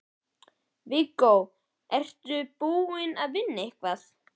Viggó: Ertu búinn að, ertu búinn að vinna eitthvað?